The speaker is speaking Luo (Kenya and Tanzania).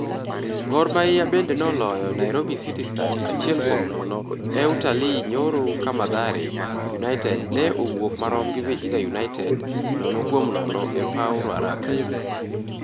Gor Mahia bende noloyo Nairobi City Stars achiel kuom nono e Utalii nyoro ka Mathare United ne owuok marom gi Vihiga United nono kuom nono e paw Ruaraka.